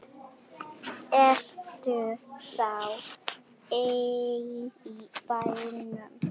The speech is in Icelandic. Ertu þá ein í bænum?